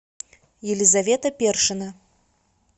елизавета першина